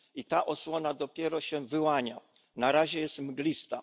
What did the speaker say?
I ta osłona dopiero się wyłania. Na razie jest mglista.